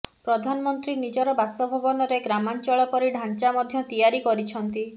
ପ୍ରଧାନମନ୍ତ୍ରୀ ନିଜର ବାସଭବନରେ ଗ୍ରାମାଞ୍ଚଳ ପରି ଢାଞ୍ଚା ମଧ୍ୟ ତିଆରି କରିଛନ୍ତି